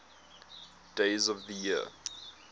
days of the year